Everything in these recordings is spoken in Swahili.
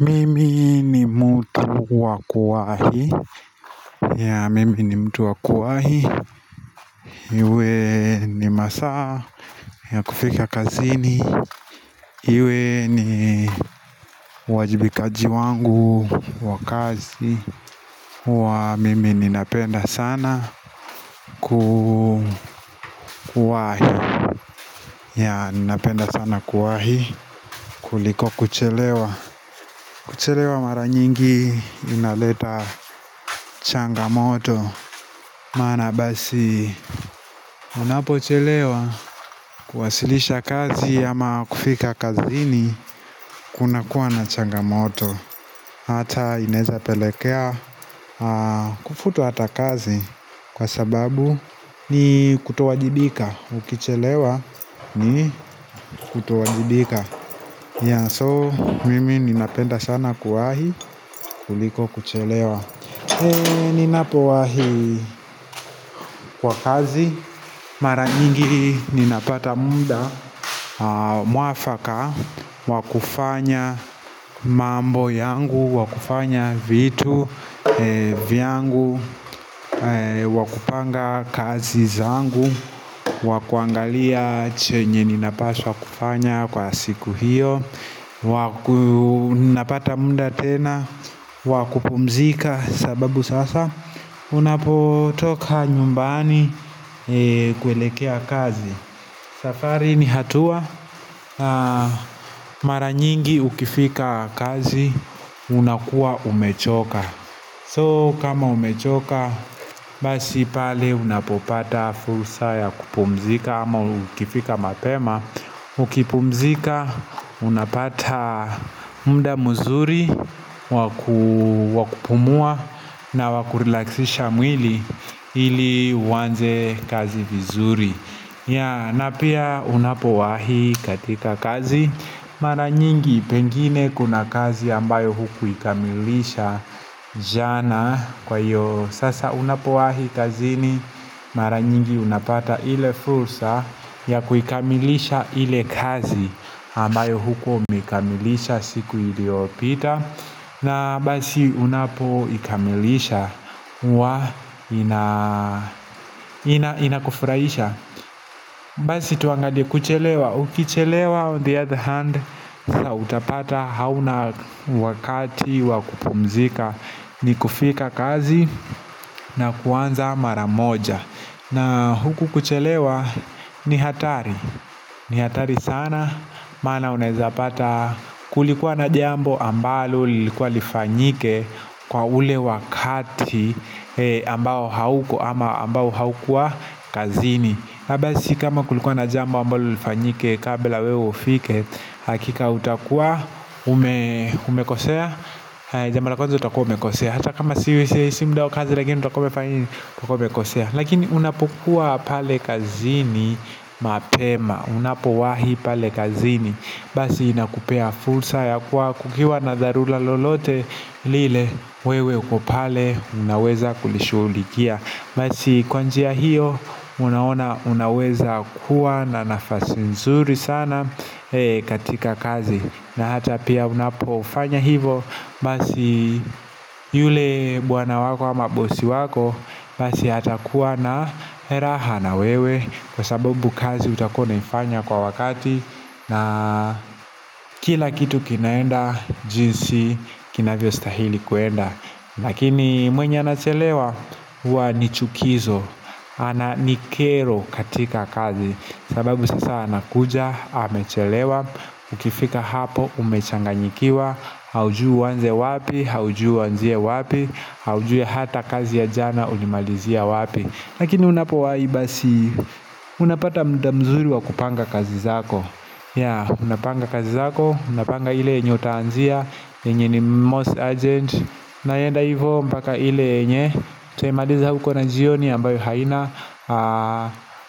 Mimi ni mtu wa kuwahi mimi ni mtu wa kuwahi iwe ni masaa ya kufika kazini iwe ni uwajibikaji wangu wa kazi huwa mimi ninapenda sana kuwahi ninapenda sana kuwahi kuliko kuchelewa kuchelewa mara nyingi inaleta changamoto maana basi unapochelewa kwasilisha kazi ama kufika kazini kunakuwa na changamoto hata inawezapelekea kufutwa hata kazi kwa sababu ni kutowajibika ukichelewa ni kutowajibika so mimi ninapenda sana kuwahi kuliko kuchelewa ninapowahi kwa kazi mara nyingi ninapata muda mwafaka wa kufanya mambo yangu wa kufanya vitu vyangu wa kupanga kazi zangu wa kuangalia chenye ninapaswa kufanya kwa siku hiyo ninapata muda tena wa kupumzika sababu sasa unapotoka nyumbani kuelekea kazi safari ni hatua mara nyingi ukifika kazi unakuwa umechoka so kama umechoka basi pale unapopata fursa ya kupumzika ama ukifika mapema ukipumzika unapata muda mzuri wa kupumua na wa kurelaxisha mwili ili uanze kazi vizuri na pia unapowahi katika kazi mara nyingi pengine kuna kazi ambayo hukuikamilisha jana kwa hiyo sasa unapowahi kazini mara nyingi unapata ile fursa ya kuikamilisha ile kazi ambayo hukuwa umeikamilisha siku iliopita na basi unapoikamilisha huwa inakufurahisha basi tuangalie kuchelewa ukichelewa on the other hand utapata hauna wakati wa kupumzika ni kufika kazi na kuanza mara moja na huku kuchelewa ni hatari ni hatari sana maana unezapata kulikuwa na jambo ambalo lilikuwa lifanyike kwa ule wakati ambao hauko ama ambao haukua kazini na basi kama kulikuwa na jambo ambalo lifanyike kabla wewe ufike hakika utakua umekosea jambo la kwanza utakuwa umekosea hata kama si muda wa kazi lakini utakuwa umekosea lakini unapokua pale kazini mapema unapowahi pale kazini basi inakupea fursa ya kuwa kukiwa na dharura lolote lile wewe uko pale unaweza kulishughulikia basi kwa njia hiyo unaona unaweza kuwa na nafasi nzuri sana katika kazi na hata pia unapofanya hivo basi yule bwana wako ama bosi wako basi atakuwa na raha na wewe kwa sababu kazi utakuwa unaifanya kwa wakati na kila kitu kinaenda jinsi kinavyostahili kuenda lakini mwenye anachelewa huwa ni chukizo ama ni kero katika kazi sababu sasa anakuja amechelewa ukifika hapo umechanganyikiwa haujui uanze wapi haujui uanzie wapi haujui hata kazi ya jana ulimalizia wapi lakini unapowahi basi unapata muda mzuri wa kupanga kazi zako unapanga kazi zako unapanga ile yenye utaanzia yenye ni most urgent unaenda hivyo mpaka ile yenye utaimaliza huko na jioni ambayo haina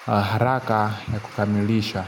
haraka ya kukamilisha.